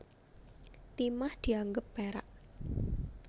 Timah dianggep perak